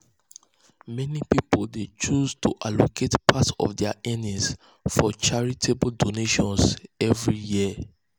meni um pipul dey choose to allocate part of dia earnings for charitable donations every year.